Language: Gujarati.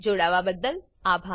જોડાવા બદલ અભાર